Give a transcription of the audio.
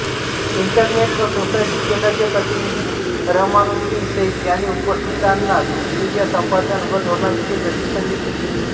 internet व society केंद्राचे प्रतिनिधी रहमानुद्दीन शैक यांनी उपस्थितांना विकिपीडिया संपादन व धोरणांविषयी प्रशिक्षण दिले